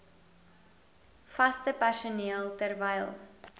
vaste personeel terwyl